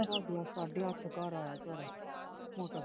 ਭਾਭੀ ਸਾਡੇ ਅੱਠ ਘਰ ਆਇਆ ਜੋਰਾ।